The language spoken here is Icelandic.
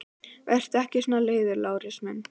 Vertu ekki svona leiður, Lárus minn!